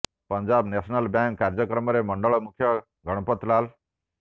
Punjab national bank କାର୍ଯ୍ୟକ୍ରମରେ ମଣ୍ଡଳ ମୁଖ୍ୟ ଗଣପତ୍ ଲାଲ୍